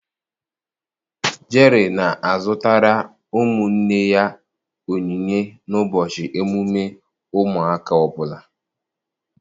Jerry na-azụtara ụmụnne ya onyinye n'ụbọchị emume ụmụaka ọbula.